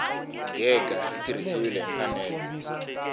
gega ri tirhisiwile hi mfanelo